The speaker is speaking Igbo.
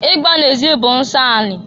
Igba na-ezi bụ nsọ anị.